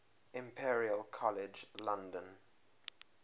imperial college london